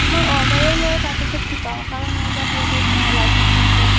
মই order ও লও তাৰপিছত শিকাও কাৰণ মোৰ তাত ইয়াতে license আছে